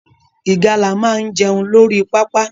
Ìgalà máa jẹun lórí pápá